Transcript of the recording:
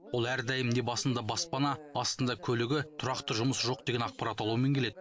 ол әрдайым не басында баспана астында көлігі тұрақты жұмысы жоқ деген ақпарат алумен келеді